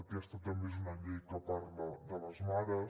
aquesta també és una llei que parla de les mares